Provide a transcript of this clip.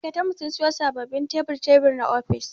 Ma'aikatar mu sun siyo sababbin tebur-tebur na ofis.